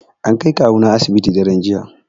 An kai kawuna asibiti daran jiya